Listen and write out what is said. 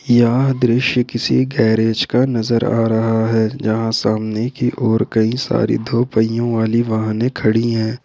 यह दृश्य किसी गैरेज का नजर आ रहा है जहां सामने की ओर कई सारी दो पहियों वाली वाहने खड़ी है।